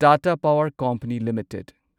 Tata power company limited